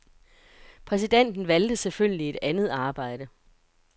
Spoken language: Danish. Præsidenten valgte selvfølgelig et andet arbejde.